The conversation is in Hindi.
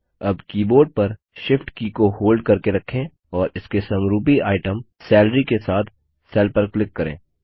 अब कीबोर्ड पर Shift की को होल्ड करके रखें और इसके समरूपी आइटम सैलरी के साथ सेल पर क्लिक करें